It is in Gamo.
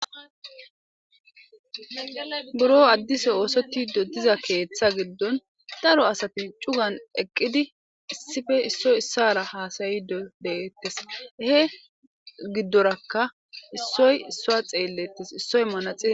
buro addise oosotido diza keeththa giddon daro asati cugan eqqidi issife issoy issara haasayido deeettes he giddorakka issoy issoa xeellettes issoy manaxi